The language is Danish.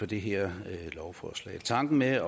det her lovforslag tanken med at